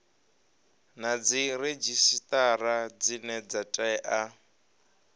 na dziredzhisitara dzine dza tea